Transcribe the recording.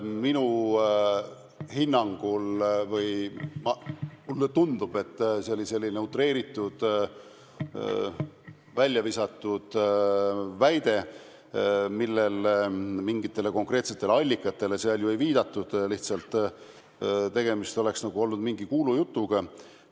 Mulle tundub, et see oli selline utreeritud, väljavisatud väide, mingitele konkreetsele allikatele seal ju ei viidatud, tegemist oleks nagu olnud lihtsalt mingi kuulujutuga.